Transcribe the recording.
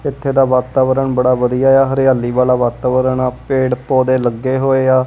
ਏੱਥੇ ਦਾ ਵਾਤਾਵਰਣ ਬੜਾ ਵਧੀਆ ਹੈ ਹਰਿਆਲੀ ਵਾਲਾ ਵਾਤਾਵਰਣ ਹੈ ਪੇੜ ਪੌਧੇ ਲੱਗੇ ਹੋਏ ਆ।